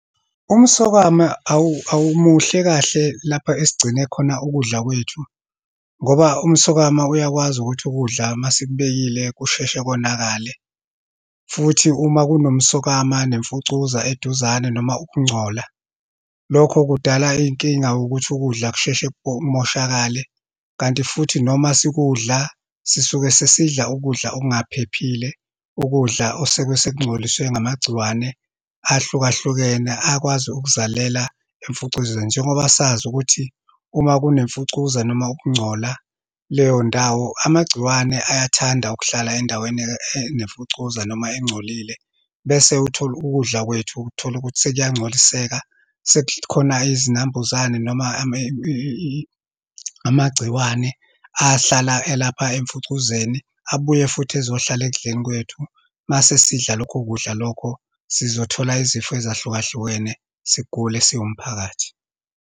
Umsokwama awumuhle kahle lapho esigcine khona ukudla kwethu, ngoba umsokama uyakwazi ukuthi ukudla uma sikubekile kusheshe konakale. Futhi uma kunomsokama nemfucuza eduzane noma ukungcola, lokho kudala inkinga ukuthi ukudla kusheshe kumoshakale. Kanti futhi noma sikudla, sisuke sesidla ukudla okungaphephile, ukudla okusuke sekungcoliswe ngamagciwane ahlukahlukene, akwazi ukuzalela imfucuzweni. Njengoba sazi ukuthi uma kune mfucuza, noma ukungcola kuleyo ndawo, amagciwane ayathanda ukuhlala endaweni enemfucuza, noma engcolile. Bese uthole ukudla kwethu, utholukuthi sekuyancoliseka, sekukhona izinambuzane noma amagciwane ahlala elapha emfucuzeni, abuye futhi ezohlala ekudleni kwethu. Uma sesidla lokho kudla lokho, sizothola izifo ezahlukahlukene, sigule siwumphakathi.